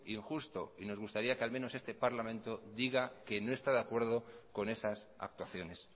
injusto y nos gustaría que al menos este parlamento diga que no está de acuerdo con esas actuaciones